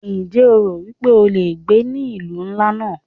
Ǹjẹ́ o rò wípé o le gbé ní ìlú ńlá náà?